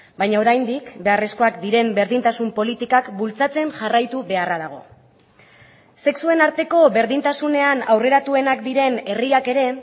baina oraindik beharrezkoak diren berdintasun politikak bultzatzen jarraitu beharra dago sexuen arteko berdintasunean aurreratuenak diren herriak ere